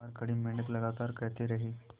बाहर खड़े मेंढक लगातार कहते रहे